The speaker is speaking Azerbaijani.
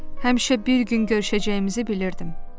Həmişə bir gün görüşəcəyimizi bilirdim.